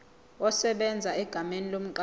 esebenza egameni lomqashi